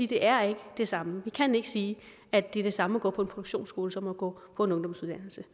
det er ikke det samme vi kan ikke sige at det er det samme at gå produktionsskole som at gå på en ungdomsuddannelse